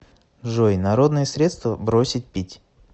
джой народные средства бросить пить